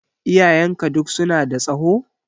Iyayenka duk su na da tsaho?